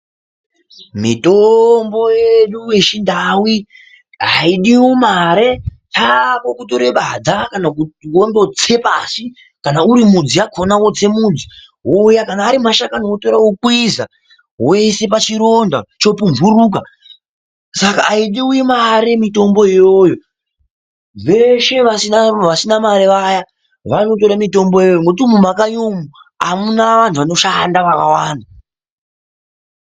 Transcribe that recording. Mitombo yedu yechindau haidiwo mare kwako kutora badza wondotse pashi kana uri midzi wakhona wodza mudzi wouya kana Ari mashakani wotora wokwidza woisa pachironda chopumburuka. Saka haidiwo mare Mitombo iyoyo veshe vasina mare vaya vanotora Mitombo iyoyo nekuti mumakanyi umo hamuna vantu vanoshanda vakawanda.